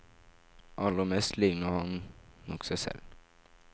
Aller mest ligner han nok seg selv.